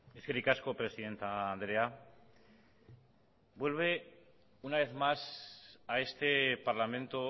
eskerrik asko presidente andrea vuelve una vez más a este parlamento